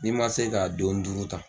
N'i man se ka don duuru ta